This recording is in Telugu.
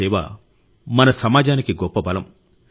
ఈ సేవ మన సమాజానికి గొప్ప బలం